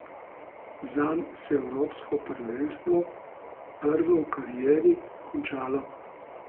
Zanj se je evropsko prvenstvo, prvo v karieri, končalo.